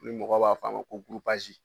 Ni mɔgɔ b'a f'a ma ko